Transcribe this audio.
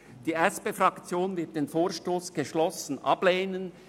Die SPFraktion wird den Vorstoss geschlossen ablehnen;